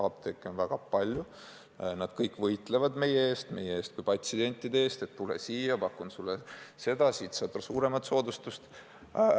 Apteeke on väga palju ja nad kõik võitlevad meie eest, meie kui patsientide eest: tule siia, ma pakun sulle seda, siit saad veel suuremat soodustust!